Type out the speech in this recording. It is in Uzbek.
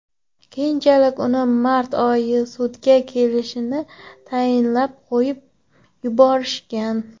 Keyinchalik uni mart oyida sudga kelishini tayinlab, qo‘yib yuborishgan.